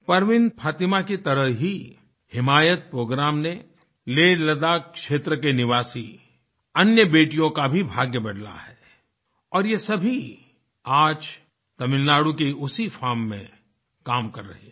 परवीन फ़ातिमा की तरह ही हिमायत प्रोग्राम ने लेहलद्दाख क्षेत्र के निवासी अन्य बेटियों का भी भाग्य बदला है और ये सभी आज तमिलनाडु की उसी फार्म में काम कर रहे हैं